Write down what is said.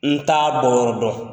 N t'a bɔyɔrɔ dɔn.